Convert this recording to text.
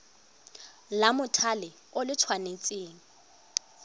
la mothale o le tshwanetse